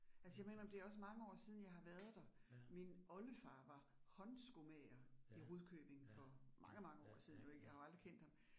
Altså jeg må indrømme det også mange år siden, jeg har været der. Min olderfar var håndskomager i Rudkøbing for mange mange år siden jo ik, jeg har jo aldrig kendt ham